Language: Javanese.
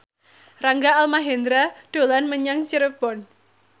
Rangga Almahendra dolan menyang Cirebon